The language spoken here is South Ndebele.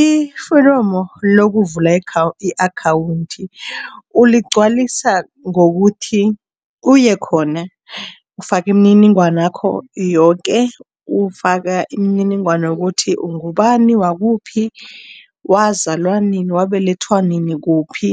Iforomo lokuvula i-akhawundi uligcwalisa ngokuthi uye khona. Ufake imininingwana yakho yoke, ufaka imininingwana yokuthi ungubani, wakuphi, wazalwa nini, wabelethwa nini, kuphi